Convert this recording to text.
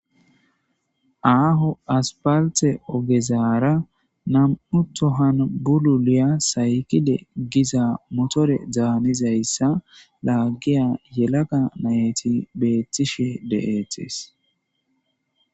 Aho aspalte ogezara nam7u tohan bululiya saykide giza motore danizayssa lagiya yelaga nayeti betishe de'tes.